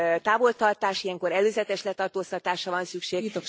távoltartás, ilyenkor előzetes letartóztatásra van szükség.